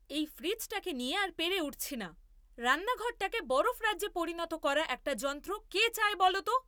এই ফ্রিজটাকে নিয়ে আর পেরে উঠছি না। রান্নাঘরটাকে বরফরাজ্যে পরিণত করা একটা যন্ত্র কে চায় বলো তো?